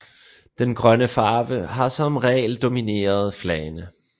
Den grønne farve har som regel domineret flagene